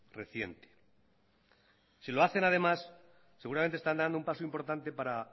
reciente si lo hacen además seguramente estarán dando un paso importante para